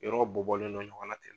Yɔrɔ bɔ bɔlen do ɲɔgɔn na ten.